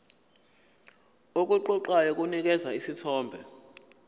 okuqoqayo kunikeza isithombe